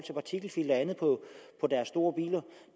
andet på deres store biler